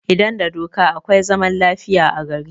Idan da doka akwai zaman lafiya a gari